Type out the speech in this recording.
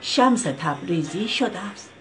شمس تبریزی شدست